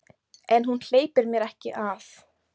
En hún hleypir mér ekki að.